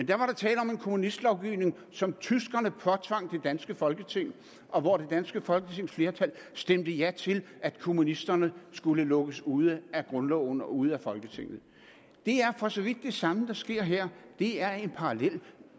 der var tale om en kommunistlovgivning som tyskerne påtvang det danske folketing og hvor det danske folketings flertal stemte ja til at kommunisterne skulle lukkes ude af grundloven og ude af folketinget det er for så vidt det samme der sker her det er en parallel